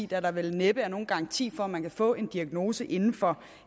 der vel næppe er nogen garanti for at man kan få en diagnose inden for